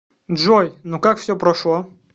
джой ну как все прошло